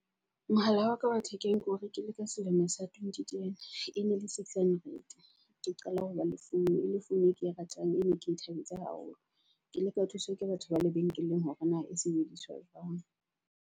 Mohala wa ka wa thekeng keo rekile ka selemo sa twenty ten, e ne le six hundred. Ke qala ho ba le founu e le founu e ke e ratang ene ke thabetse haholo. Ke ile ka thuswa ke batho ba lebenkeleng hore na e sebediswa jwang.